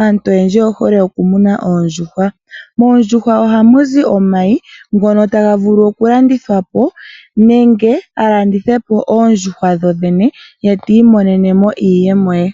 aantu oyendji oyehole okumuna oondjuhwa. Moondjuhwa ohamuzi omayi ngono taga vulu okulandithwapo nenge yalandithepo oondjuhwa dhodhene eti monenemo iiyemo ye.